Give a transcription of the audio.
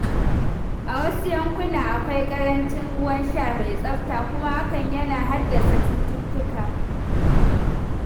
A wasu yankunan, akwai ƙarancin ruwan sha mai tsafta kuma hakan yana haddasa cututtuka.